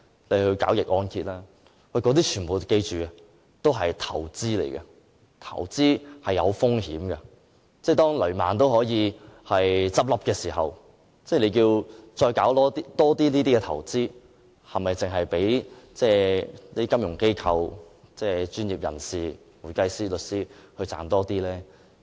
大家要緊記，這些全部是投資，投資涉及風險，當雷曼也可以倒閉時，政府仍鼓勵市民多作這類投資，是否只讓那些金融機構和會計師、律師這些專業人士賺取更多金錢呢？